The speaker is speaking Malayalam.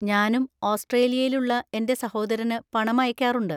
ഞാനും ഓസ്‌ട്രേലിയയിൽ ഉള്ള എന്‍റെ സഹോദരന് പണം അയക്കാറുണ്ട്.